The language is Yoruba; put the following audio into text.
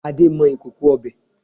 Ade ń mọ ìkòkò ọbẹ̀